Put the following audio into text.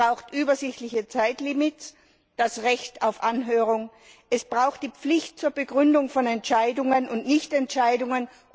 Es braucht übersichtliche Zeitlimits für das Recht auf Anhörung. Es braucht die Pflicht zur Begründung von Entscheidungen und Nicht Entscheidungen.